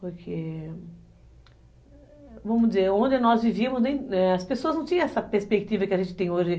Porque... Vamos dizer, onde nós vivíamos, as pessoas não tinham essa perspectiva que a gente tem hoje.